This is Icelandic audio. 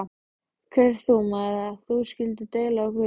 Hver ert þú, maður, að þú skulir deila á Guð?